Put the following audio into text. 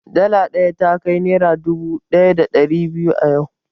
dala ɗaya takai naira dubu ɗaya da ɗari biyu a yau